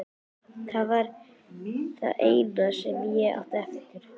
Það var það eina sem ég átti eftir.